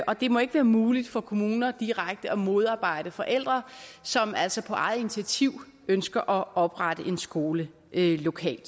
og det må ikke være muligt for kommuner direkte at modarbejde forældre som altså på eget initiativ ønsker at oprette en skole lokalt